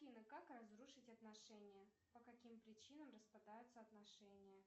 афина как разрушить отношения по каким причинам распадаются отношения